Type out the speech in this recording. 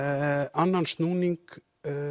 annan snúning